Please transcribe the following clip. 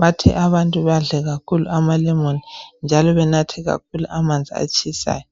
bathe abantu badle kakhulu amalemon njalo banathe kakhulu amanzi atshisayo.